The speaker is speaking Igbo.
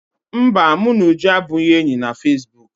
Mba, mụ na Uju abụghị enyi na fesibuuku